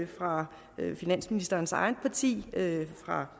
fra finansministerens eget parti fra